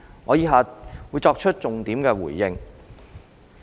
我以下會作重點回應。